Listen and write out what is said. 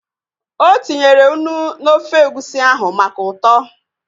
O tinyere unu n'ofe egusi ahụ maka ụtọ